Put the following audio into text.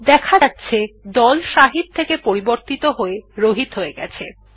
দেখা যাচ্ছে দল শাহিদ থেকে পরিবর্তন হয়ে রহিত হয়ে গেছে